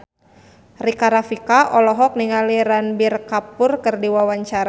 Rika Rafika olohok ningali Ranbir Kapoor keur diwawancara